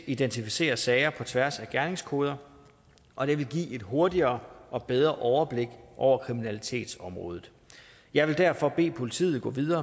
identificere sager på tværs af gerningskoder og det vil give et hurtigere og bedre overblik over kriminalitetsområdet jeg vil derfor bede politiet gå videre